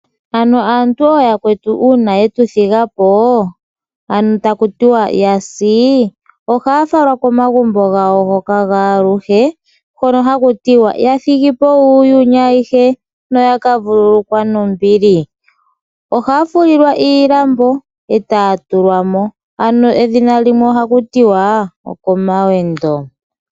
Uuna aantu oyakwetu yasi ohaya falwa komagumbo gawo gaaluhe hono hakutiwa yathigipo yuuyini ayihe yakavulukwa nombili. Ohaya fulilwa iilambo etaya tulwamo ano edhina limwe ohaku tiwa okomawendo.